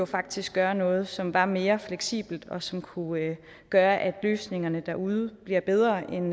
faktisk gøre noget som er mere fleksibelt og som kunne gøre at løsningen derude bliver bedre end